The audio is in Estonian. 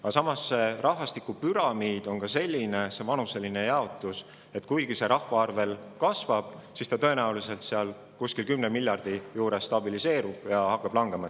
Aga samas on riikide rahvastikupüramiidid sellised – näiteks inimeste vanuseline jaotus –, et kuigi rahvaarv veel kasvab, siis tõenäoliselt see kuskil 10 miljardi inimese juures stabiliseerub ja hakkab langema.